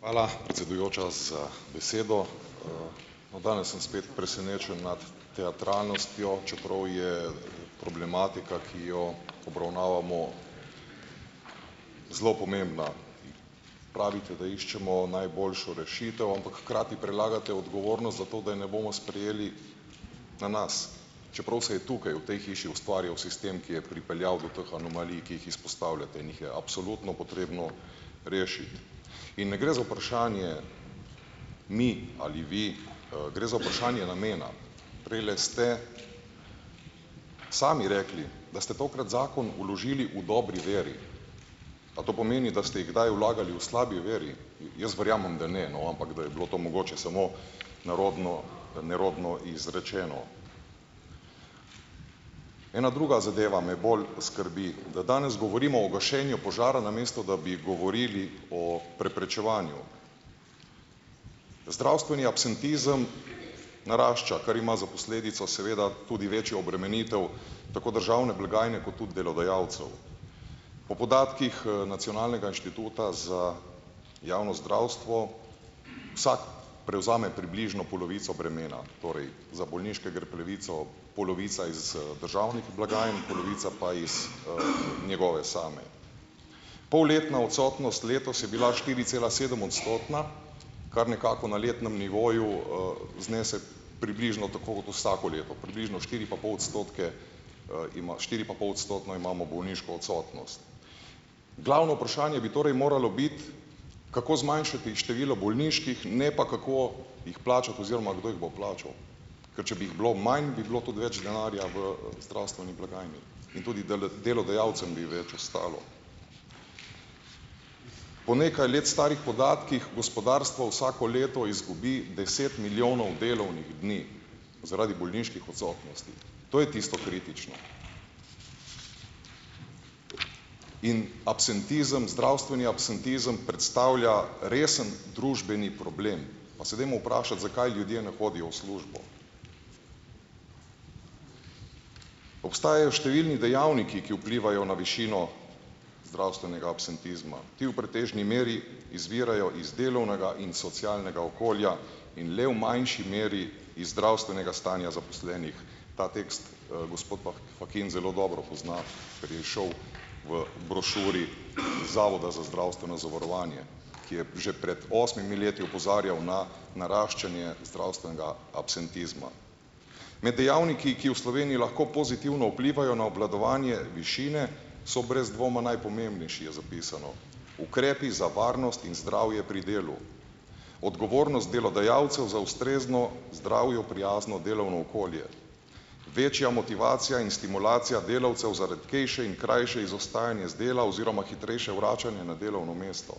Hvala, predsedujoča, za besedo. No, danes sem spet presenečen nad teatralnostjo, čeprav je problematika, ki jo obravnavamo, zelo pomembna. Pravite, da iščemo najboljšo rešitev, ampak hkrati prelagate odgovornost za to, da je ne bomo sprejeli, na nas, čeprav se je tukaj, v tej hiši ustvarjal sistem, ki je pripeljal do teh anomalij, ki jih izpostavljate in jih je absolutno potrebno rešiti. In ne gre za vprašanje "mi" ali "vi", gre za vprašanje namena. Prejle ste sami rekli, da ste tokrat zakon vložili v dobri veri - a to pomeni, da ste jih kdaj vlagali v slabi veri? Jaz verjamem, da ne, no, ampak da je bilo to mogoče samo nerodno, nerodno izrečeno. Ena druga zadeva me je bolj skrbi, da danes govorimo o gašenju požara, namesto da bi govorili o preprečevanju. Zdravstveni absentizem narašča, kar ima za posledico seveda tudi večjo obremenitev tako državne blagajne kot tudi delodajalcev. Po podatkih, Nacionalnega inštituta za javno zdravstvo vsako prevzame približno polovico bremena, torej, za bolniške gre polovica iz, državnih blagajn, polovica pa iz, njegove same. Polletna odsotnost letos je bila štiricelasedemodstotna, kar nekako na letnem nivoju, znese približno tako kot vsako leto, približno štiri pa pol odstotke, štiripapolodstotno imamo bolniško odsotnost. Glavno vprašanje bi torej moralo biti, kako zmanjšati število bolniških, ne pa kako jih plačati oziroma kdo jih bo plačal. Ker če bi jih bilo manj, bi bilo tudi več denarja v zdravstveni blagajni in tudi delodajalcem bi več ostalo. Po nekaj let starih podatkih gospodarstvo vsako leto izgubi deset milijonov delovnih dni zaradi bolniških odsotnosti, to je tisto kritično. In absentizem, zdravstveni absentizem predstavlja resen družbeni problem. Pa se dajmo vprašati, zakaj ljudje ne hodijo v službo. Obstajajo številni dejavniki, ki vplivajo na višino zdravstvenega absentizma. Ti v pretežni meri izvirajo iz delovnega in socialnega okolja in le v manjši meri iz zdravstvenega stanja zaposlenih. Ta tekst, gospod Fakin zelo dobro pozna, ker je izšel v brošuri Zavoda za zdravstveno zavarovanje, ki je že pred osmimi leti opozarjal na naraščanje zdravstvenega absentizma. Med dejavniki, ki v Sloveniji lahko pozitivno vplivajo na obvladovanje višine, so brez dvoma najpomembnejši - je zapisano, ukrepi za varnost in zdravje pri delu; odgovornost delodajalcev za ustrezno, zdravju prijazno delovno okolje; večja motivacija in stimulacija delavcev za redkejše in krajše izostajanje z dela oziroma hitrejše vračanje na delovno mesto;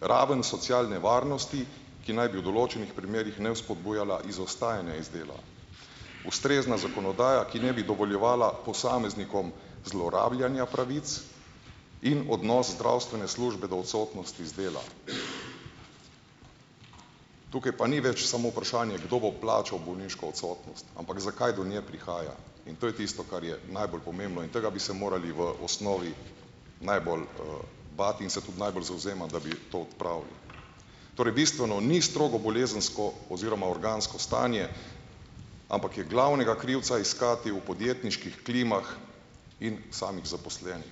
raven socialne varnosti, ki naj bi v določenih primerih ne vzpodbujala izostajanja iz dela; ustrezna zakonodaja, ki ne bi dovoljevala posameznikom zlorabljanja pravic, in odnos zdravstvene službe do odsotnosti z dela. Tukaj pa ni več samo vprašanje, kdo bo plačal bolniško odsotnost, ampak zakaj do nje prihaja. In to je tisto, kar je najbolj pomembno in tega bi se morali v osnovi najbolj, bati in se tudi najbolj zavzemati, da bi to odpravili. Torej, bistveno ni strogo bolezensko oziroma organsko stanje, ampak je glavnega krivca iskati v podjetniških klimah in samih zaposlenih.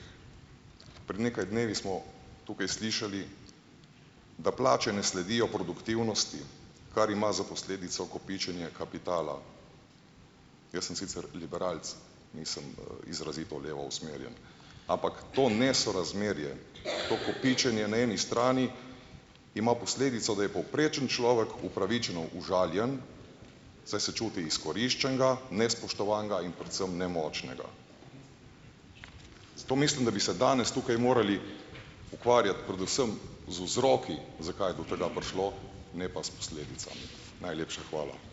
Pred nekaj dnevi smo tukaj slišali, da plače ne sledijo produktivnosti, kar ima za posledico kopičenje kapitala. Jaz sem sicer liberalec, nisem, izrazito levo usmerjen, ampak to nesorazmerje, to kopičenje na eni strani ima posledico, da je povprečen človek upravičeno užaljen, saj se čuti izkoriščenega, nespoštovanega in predvsem nemočnega. Zato mislim, da bi se danes tukaj morali ukvarjati predvsem z vzroki, zakaj je do tega prišlo, ne pa s posledicami. Najlepša hvala.